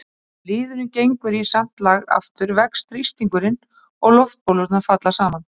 þegar liðurinn gengur í samt lag aftur vex þrýstingurinn og loftbólurnar falla saman